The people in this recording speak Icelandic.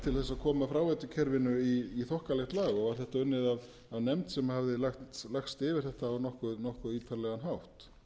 til þess að koma fráveitukerfinu í þokkalegt lag og var þetta unnið af nefnd sem hafði lagst yfir þetta á nokkuð ítarlegan hátt